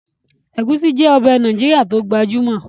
Ẹ̀gúsí jẹ́ ọbẹ̀ Nàìjíríà tí ó gbajúmọ̀